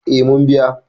eh mun biya